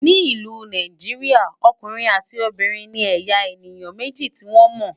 ní ìlú Nàìjíríà, ọkùnrin àti Obìnrin ní eya èyán méjì tí wọn mó